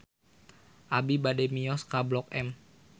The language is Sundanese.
Abi bade mios ka Blok M